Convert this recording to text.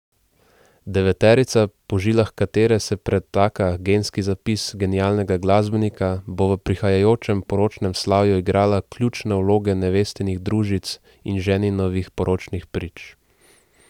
Deveterica, po žilah katere se pretaka genski zapis genialnega glasbenika, bo v prihajajočem poročnem slavju igrala ključne vloge nevestinih družic in ženinovih poročnih prič.